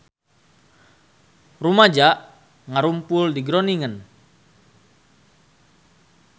Rumaja ngarumpul di Groningen